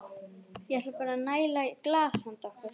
Ég ætla bara að næla í glas handa okkur.